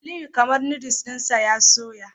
Aliyu kamar Noddles dinsa ya soya